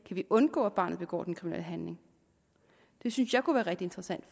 vi undgå at barnet begår den kriminelle handling det synes jeg kunne være rigtig interessant